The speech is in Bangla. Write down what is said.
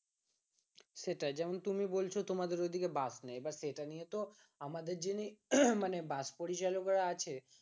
সেটাই যেমন তুমি বলছো তোমাদের ওদিকে বাস নেই এবার সেটা নিয়ে তো আমাদের যেমনি বাস পরিচালকরা আছে